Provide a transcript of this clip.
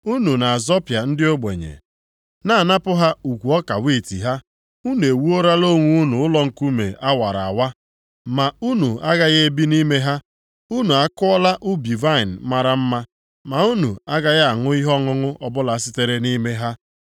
Unu na-azọpịa ndị ogbenye, na-anapụ ha ukwu ọka wiiti ha. Unu ewuolara onwe unu ụlọ nkume a wara awa, ma unu agaghị ebi nʼime ha. Unu akụọla ubi vaịnị mara mma, ma unu agaghị aṅụ ihe ọṅụṅụ ọbụla sitere nʼime ha.